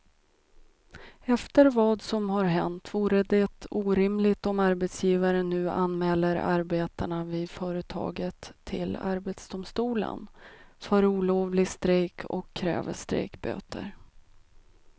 Efter vad som har hänt vore det orimligt om arbetsgivaren nu anmäler arbetarna vid företaget till arbetsdomstolen för olovlig strejk och kräver strejkböter.